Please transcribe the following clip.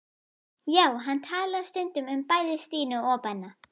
Já, hann talaði stundum um bæði Stínu og Benna.